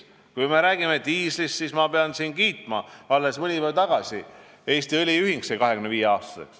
Kui me räägime diislist, siis ma pean kiitma Eesti Õliühingut, kes alles mõni päev tagasi sai 25-aastaseks.